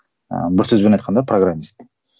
ыыы бір сөзбен айтқанда программист